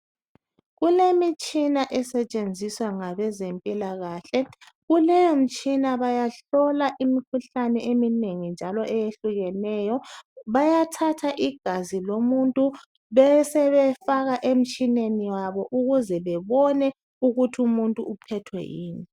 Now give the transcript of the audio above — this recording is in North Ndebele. Kulemitshina esetshenziswa ngabezempilakhahle. Kuleyo mtshina bahlola imikhuhlane eminengi njalo eyehlukeneyo. Bayathatha igazi lomuntu besebefaka emtshineni wabo ukuze bebone ukuthi umuntu uphethwe yini.